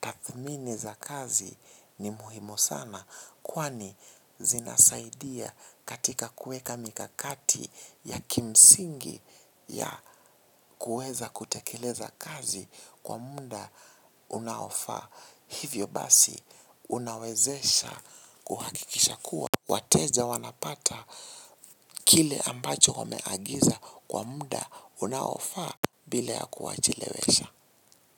tathmini za kazi ni muhimu sana kwani zinasaidia katika kuweka mikakati ya kimsingi ya kueza kutekeleza kazi kwa muda unaofaa. Hivyo basi unawezesha kuhakikisha kuwa. Wateja wanapata kile ambacho wameagiza kwa muda unaofaa bila ya kuwachelewesha.